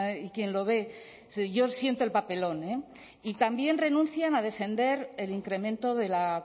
y quién lo ve yo siento el papelón y también renuncian a defender el incremento de la